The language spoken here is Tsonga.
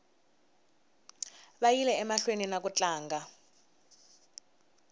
vayile emahlweni niku tlanga